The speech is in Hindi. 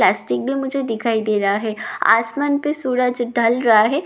प्लास्टिक भी मुझे दिखाई दे रहा है आसमान पे सूरज ढल रहा है दिखने में ये--